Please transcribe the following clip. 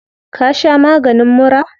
Ka sha maganin mura?